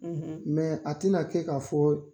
Mɛ a tena kɛ k'a fɔ